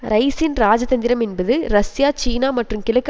ரைஸின் இராஜதந்திரம் என்பது ரஷ்யா சீனா மற்றும் கிழக்கு